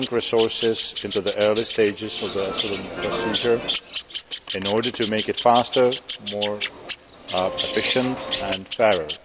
investing resources in the early stages of the asylum procedure in order to make it faster, more efficient and fairer.